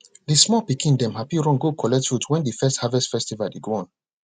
de small pikin dem happy run go collect fruits wen de first harvest festival dey go on